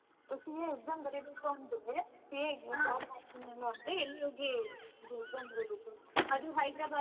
CA exam ಬರೀಬೇಕು ಅಂದ್ರೆ ಎಲ್ಲಿ ಹೋಗಿ ಇದು exam ಬರೀಬೇಕು?